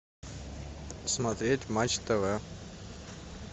смотреть матч тв